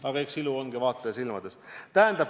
Aga eks ilu olegi vaataja silmades.